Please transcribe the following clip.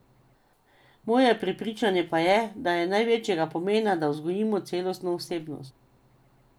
Moje prepričanje pa je, da je največjega pomena, da vzgojimo celostno osebnost.